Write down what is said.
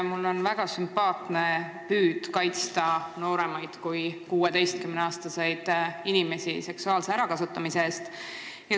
Mulle on väga sümpaatne püüd kaitsta nooremaid kui 16-aastaseid inimesi seksuaalse ärakasutamise eest.